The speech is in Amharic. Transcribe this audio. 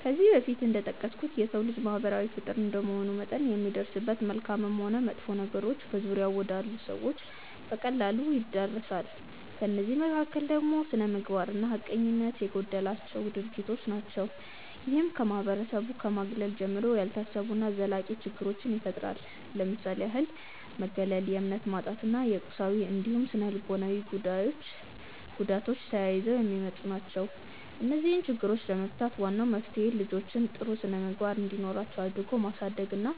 ከዚህ በፊት እንደጠቀስኩት የሰው ልጅ ማህበራዊ ፍጡር እንደመሆኑ መጠን የሚደርስበት መልካምም ሆን መጥፎ ነገሮች በዙሪያው ወዳሉ ሰዎች በቀላሉ ይዳረሳል። ከእነዚህ መካከል ደግሞ ስነምግባር እና ሀቀኝነት የጎደላቸው ድርጊቶች ናቸው። ይህም ከማህበረሰቡ ከማግለል ጀምሮ፣ ያልታሰቡ እና ዘላቂ ችግሮችን ይፈጥራል። ለምሳሌ ያህል መገለል፣ የእምነት ማጣት እና የቁሳዊ እንዲሁም ስነልቦናዊ ጉዳቶች ተያይዘው የሚመጡ ናቸው። እነዚህን ችግሮች ለመፍታት ዋናው መፍትሄ ልጆችን ጥሩ ስነምግባር እንዲኖራቸው አድርጎ ማሳደግ እና